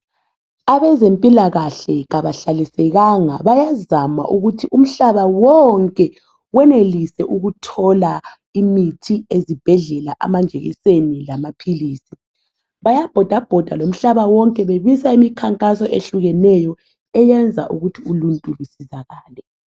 Abezempilakahle kabahlalisekanga bayazama ukuthi umhlaba wonke wenelise ukuthola imithi ezibhedlela, amajekiseni lamaphilizi. Bayabhodabhoda lomhlaba wonke bebisa imikhankaso ehlukeneyo eyenza ukuthi uluntu lusizakale.